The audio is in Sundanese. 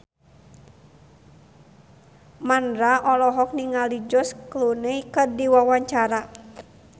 Mandra olohok ningali George Clooney keur diwawancara